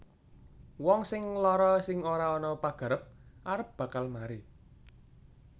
Wong sing lara sing ora ana pagarep arep bakal mari